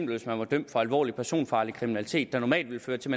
hvis man er dømt for alvorlig personfarlig kriminalitet der normalt ville føre til